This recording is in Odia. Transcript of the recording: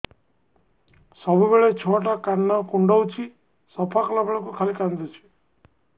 ସବୁବେଳେ ଛୁଆ ଟା କାନ କୁଣ୍ଡଉଚି ସଫା କଲା ବେଳକୁ ଖାଲି କାନ୍ଦୁଚି